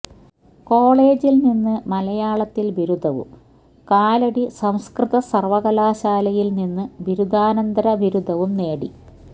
കോളേജിൽ നിന്ന് മലയാളത്തിൽ ബിരുദവും കാലടി സംസ്കൃത സർവകലാശാലയിൽ നിന്ന് ബിരുദാനന്തര ബിരുദവും നേടി